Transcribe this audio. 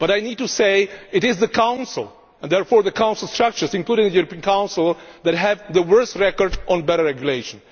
I must say that it is the Council, and therefore the Council structures, including the European Council, that have the worst record on better regulation.